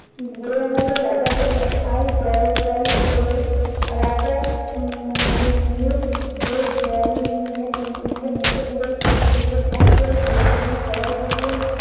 ধরে আনলে রাজা বললেন- আয় জল জল এল, রাজা উম মুখ~ মুখ ভরে জল নিয়ে টুনটুনিকে মুখে পুরেই চোখ বুজে ঢক করে গিলে ফেললেন। সবাই বললেন-